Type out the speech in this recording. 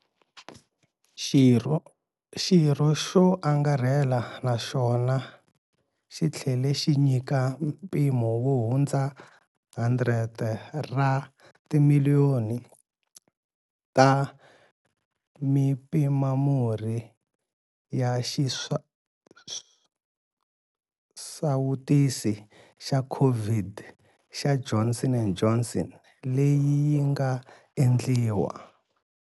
Xirho swo angarhela naswona yi tlhele xi nyika mpimo wo hundza 100 ra timiliyoni ta mipimamurhi ya xisawutisi xa COVID xa Johnson and Johnson leyi yi nga endliwa.